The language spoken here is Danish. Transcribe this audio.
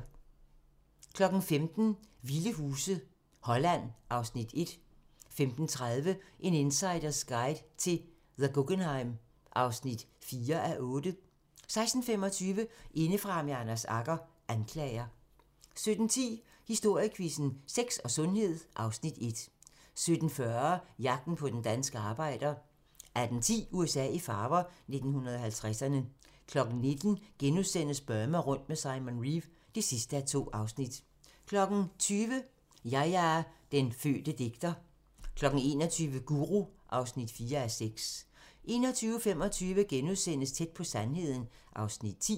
15:00: Vilde huse - Holland (Afs. 1) 15:30: En insiders guide til The Guggenheim (4:8) 16:25: Indefra med Anders Agger - Anklager 17:10: Historiequizzen: Sex og sundhed (Afs. 1) 17:40: Jagten på den danske arbejder 18:10: USA i farver - 1950'erne 19:00: Burma rundt med Simon Reeve (2:2)* 20:00: Yahya – Den fødte digter 21:00: Guru (4:6) 21:25: Tæt på sandheden (Afs. 10)*